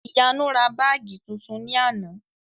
Ìyanu ra báàgì tuntun ní àná